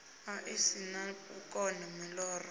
ḽi si na vhukono muloro